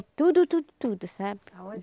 tudo, tudo, tudo, sabe? Arroz